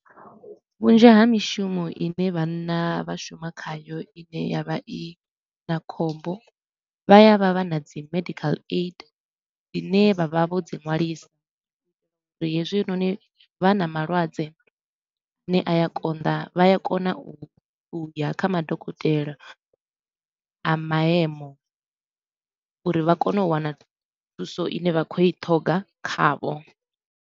Vhunzhi ha mishumo i ne vhanna vha shuma khayo i ne ya vha i na khombo, vha ya vha vha na dzi medical aid i ne vha vha vho dzi nwalisa uri hezwinoni vha na malwadze a ne a ya konḓa vha ya kona u ya kha madokotela a maemo uri vha kone u wana thuso i ne vha khou i ṱhoga khavho.